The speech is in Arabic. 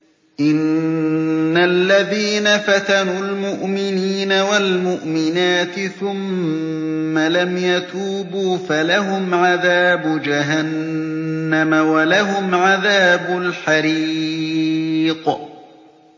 إِنَّ الَّذِينَ فَتَنُوا الْمُؤْمِنِينَ وَالْمُؤْمِنَاتِ ثُمَّ لَمْ يَتُوبُوا فَلَهُمْ عَذَابُ جَهَنَّمَ وَلَهُمْ عَذَابُ الْحَرِيقِ